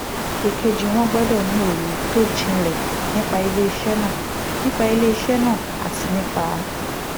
èkejì wọ́n gbọ́dọ̀ ní òye tó jinlẹ̀ nípa iléeṣẹ́ náà nípa ilé iṣẹ́ náà àti nípa